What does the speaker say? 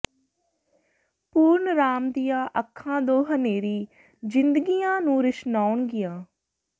ਪੂਰਨ ਰਾਮ ਦੀਆਂ ਅੱਖਾਂ ਦੋ ਹਨ੍ਹੇਰੀ ਜ਼ਿੰਦਗੀਆਂ ਨੂੰ ਰੁਸ਼ਨਾਉਣਗੀਆਂ